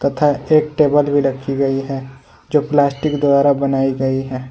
तथा एक टेबल भी रखी गई है जो प्लास्टिक द्वारा बनाई गई है।